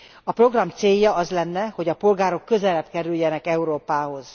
A program célja az lenne, hogy a polgárok közelebb kerüljenek Európához.